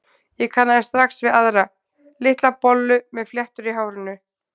Ég kannaðist strax við aðra, litla bollu með fléttur í hárinu.